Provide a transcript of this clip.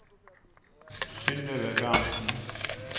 Synnøve Berntsen